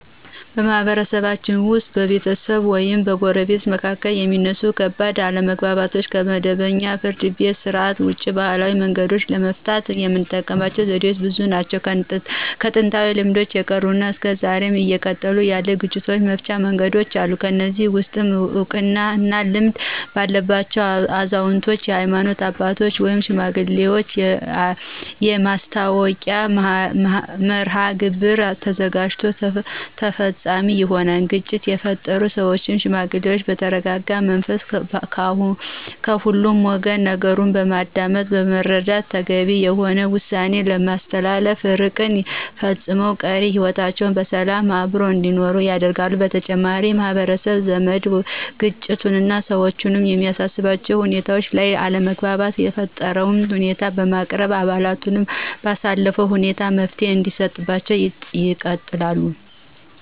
በማህበረሰባችን ውስጥ በቤተሰቦች ወይም በጎረቤቶች መካከል የሚነሱ ከባድ አለመግባባቶችን ከመደበኛው የፍርድ ቤት ሥርዓት ውጪ በባህላዊ መንገዶች ለመፍታት የምንጠቀምበት ዘዴዎች ብዙ ናቸው። ከጥንታዊ ልማዶች የቀሩና እስከ ዛሬም እየቀጠሉ ያሉ የግጭት መፍቻ መንገዶች አሉ። ከነዚህም ውስጥ እውቀት እና ልምድ ባላቸው አዛውንቶች፣ የሀይማኖት አባቶች ወይም ሽማግሌዎች የማስታረቂያ መርሐግብር ተዘጋጅቶ ተፈፃሚ ይሆናል። ግጭት የፈጠሩ ሰዎችን ሽማግሌዎች በተረጋጋ መንፈስ ከሁለቱ ወገን ነገሩን በማዳመጥና በመረዳት ተገቢ የሆነ ውሳኔ በማስተላለፍ እርቅ ፈፅመው ቀሪ ህይወታቸውን በሰላምና በአብሮነት እንዲኖሩ ያደርጋሉ። በተጨማሪም በማህበራት፣ በዘመድ ግንኙዎችና ሰዎችን በሚያሰባስቡ ሁኔታዎች ላይ አለመግባባት የተፈጠረበትን ሁኔታ በማቅረብ አባላቱን ባሳተፈ ሁኔታ መፍትሔ እንዲሰጣቸው ይጠይቃሉ።